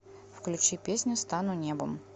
включи песня стану небом